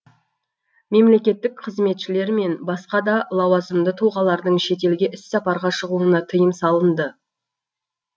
мемлекеттік қызметшілер мен басқа да лауазымды тұлғалардың шетелге іс сапарға шығуына тыйым салынды